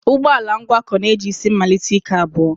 Ụgbọ ala ngwakọ na-eji isi mmalite ike abụọ